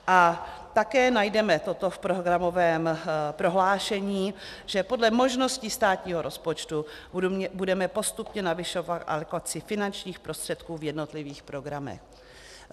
A také najdeme toto v programovém prohlášení, že "podle možností státního rozpočtu budeme postupně navyšovat alokaci finančních prostředků v jednotlivých programech".